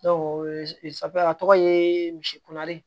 a tɔgɔ ye misi kunnari